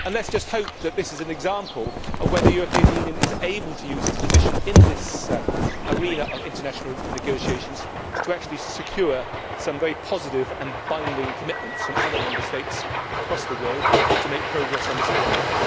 Let us just hope that this is an example of the European Union being able to use its position in this arena of international negotiations to actually secure some very positive and binding commitments from other Member States across the world to make progress on this agenda.